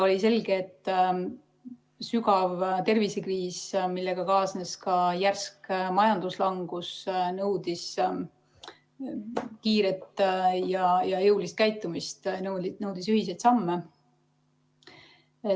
Oli selge, et sügav tervisekriis, millega kaasnes ka järsk majanduslangus, nõudis kiiret ja jõulist käitumist, nõudis ühiseid samme.